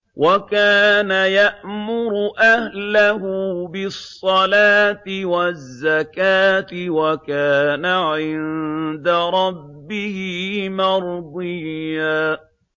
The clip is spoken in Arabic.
وَكَانَ يَأْمُرُ أَهْلَهُ بِالصَّلَاةِ وَالزَّكَاةِ وَكَانَ عِندَ رَبِّهِ مَرْضِيًّا